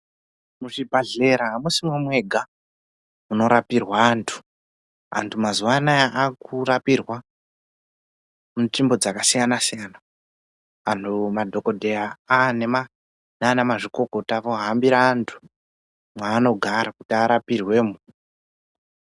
Muzvibhahlera amusimo mwega munorapirwa antu antu mazuwa anaya akurapirwa munzvimbo dzakasiyana siyana antu madhokodheya nanamazvikokota vohambira vantu mwaanogara kuti arapirwemo.